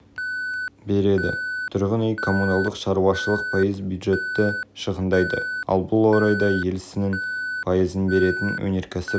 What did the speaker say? сектор бюджет шығыстарының пайыз қолдауын ала отырып ел небәрі пайыз береді көлік пен коммуникациялар пайыз